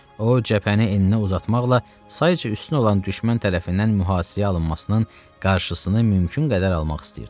O, cəbhəni eninə uzatmaqla sayca üstün olan düşmən tərəfindən mühasirəyə alınmasının qarşısını mümkün qədər almaq istəyirdi.